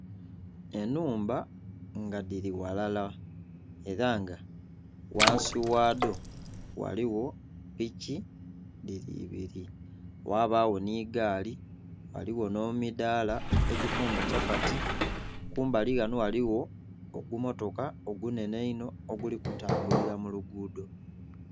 Ennhumba nga dhiri ghalala era nga ghansi ghadho ghaligho piki, dhiri ibiri ghabagho ni gaali, ghaligho n'emidaala egifumba kyapati. Kumbali ghano ghaligho ogumotoka ogunhenhe einho oguli kutambulira mu luguudo.